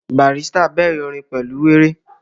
Barrister bẹ̀rẹ̀ orin pẹ̀lú wéré